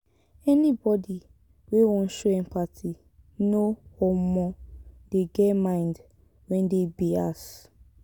anybodi wey wan show empathy no um dey get mind wey dey bias.